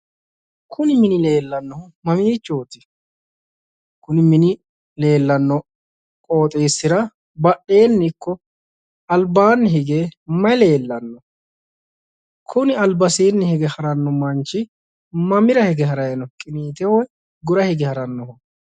Kuni mini leellannohu mamiichooti? kuni mini leellanno mini qooxxeesira badheenni ikko albaanni hige may leellanno? Kuni albasiinni hige haranno manchi mamira hige haranno manchi mamira hige haray no qinteho gura hige haray no?